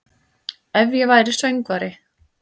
Ef væri ég söngvari